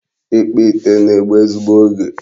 Ịkpụ ite na-egbu ezigbo oge.